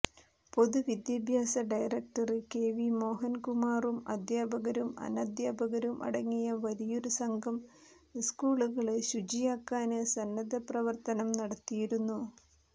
പൊതുവിദ്യാഭ്യാസ director K V മോഹന്കുമാറും അധ്യാപകരും അനധ്യാപകരും അടങ്ങിയ വലിയൊരു സംഘം സ്കൂളുകള് ശുചിയാക്കാന് സന്നദ്ധപ്രവര്ത്തനം നടത്തിയിരുന്നു